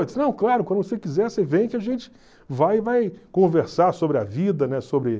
Ele disse, não, claro, quando você quiser, você vem que a gente vai e vai conversar sobre a vida, né?